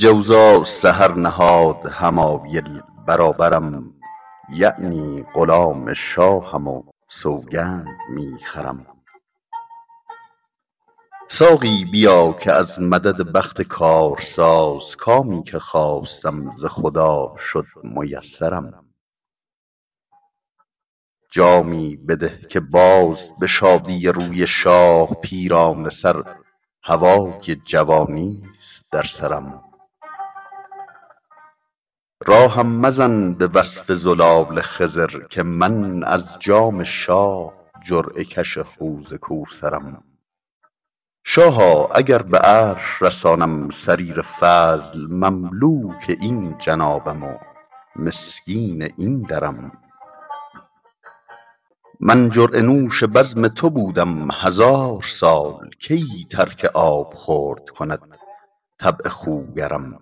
جوزا سحر نهاد حمایل برابرم یعنی غلام شاهم و سوگند می خورم ساقی بیا که از مدد بخت کارساز کامی که خواستم ز خدا شد میسرم جامی بده که باز به شادی روی شاه پیرانه سر هوای جوانیست در سرم راهم مزن به وصف زلال خضر که من از جام شاه جرعه کش حوض کوثرم شاها اگر به عرش رسانم سریر فضل مملوک این جنابم و مسکین این درم من جرعه نوش بزم تو بودم هزار سال کی ترک آبخورد کند طبع خوگرم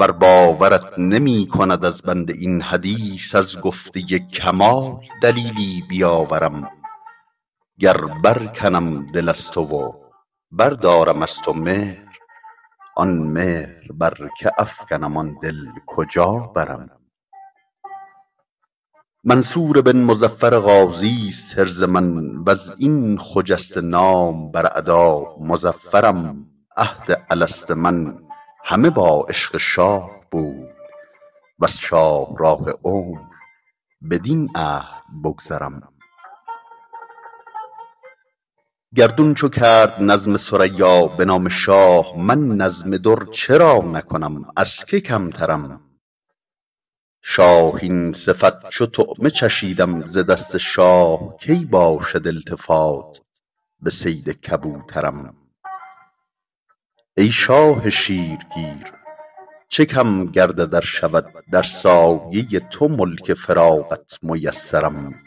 ور باورت نمی کند از بنده این حدیث از گفته کمال دلیلی بیاورم گر برکنم دل از تو و بردارم از تو مهر آن مهر بر که افکنم آن دل کجا برم منصور بن مظفر غازیست حرز من و از این خجسته نام بر اعدا مظفرم عهد الست من همه با عشق شاه بود وز شاهراه عمر بدین عهد بگذرم گردون چو کرد نظم ثریا به نام شاه من نظم در چرا نکنم از که کمترم شاهین صفت چو طعمه چشیدم ز دست شاه کی باشد التفات به صید کبوترم ای شاه شیرگیر چه کم گردد ار شود در سایه تو ملک فراغت میسرم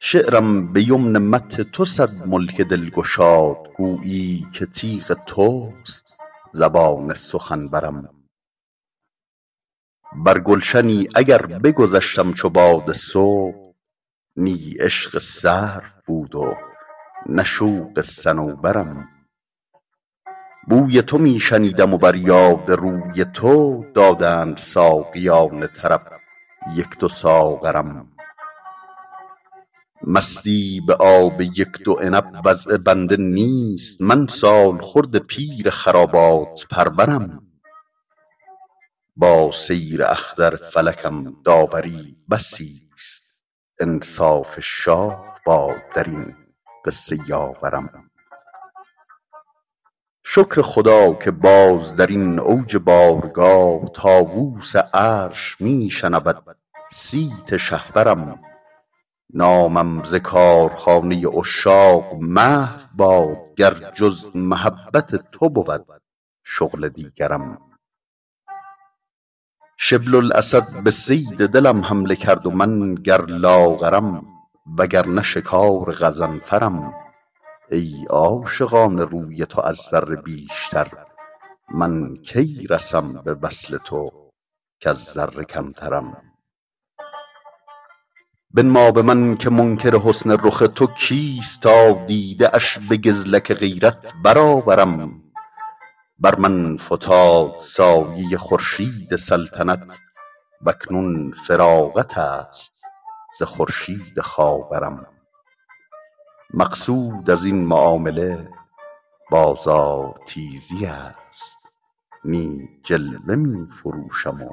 شعرم به یمن مدح تو صد ملک دل گشاد گویی که تیغ توست زبان سخنورم بر گلشنی اگر بگذشتم چو باد صبح نی عشق سرو بود و نه شوق صنوبرم بوی تو می شنیدم و بر یاد روی تو دادند ساقیان طرب یک دو ساغرم مستی به آب یک دو عنب وضع بنده نیست من سالخورده پیر خرابات پرورم با سیر اختر فلکم داوری بسیست انصاف شاه باد در این قصه یاورم شکر خدا که باز در این اوج بارگاه طاووس عرش می شنود صیت شهپرم نامم ز کارخانه عشاق محو باد گر جز محبت تو بود شغل دیگرم شبل الاسد به صید دلم حمله کرد و من گر لاغرم وگرنه شکار غضنفرم ای عاشقان روی تو از ذره بیشتر من کی رسم به وصل تو کز ذره کمترم بنما به من که منکر حسن رخ تو کیست تا دیده اش به گزلک غیرت برآورم بر من فتاد سایه خورشید سلطنت و اکنون فراغت است ز خورشید خاورم مقصود از این معامله بازارتیزی است نی جلوه می فروشم و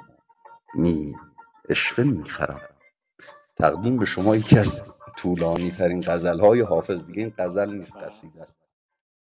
نی عشوه می خرم